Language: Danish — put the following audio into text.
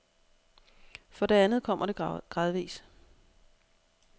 For det andet kommer det gradvis.